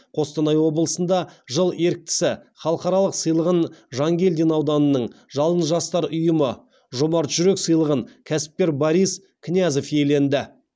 қостанай облысында жыл еріктісі халықаралық сыйлығын жангелдин ауданының жалын жастар ұйымы жомарт жүрек сыйлығын кәсіпкер борис князев иеленді